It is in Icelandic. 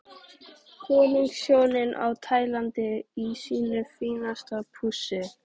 Konungshjónin á Tælandi í sínu fínasta pússi.